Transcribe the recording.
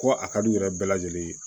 Ko a ka d'u yɛrɛ bɛɛ lajɛlen ye